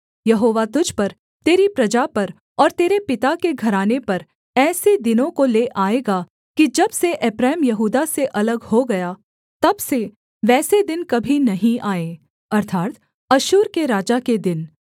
यहोवा तुझ पर तेरी प्रजा पर और तेरे पिता के घराने पर ऐसे दिनों को ले आएगा कि जब से एप्रैम यहूदा से अलग हो गया तब से वैसे दिन कभी नहीं आए अर्थात् अश्शूर के राजा के दिन